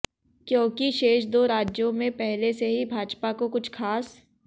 क्योंकि शेष दो राज्यों में पहले से ही भाजपा को कुछ खास